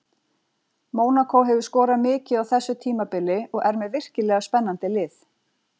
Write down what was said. Mónakó hefur skorað mikið á þessu tímabili og er með virkilega spennandi lið.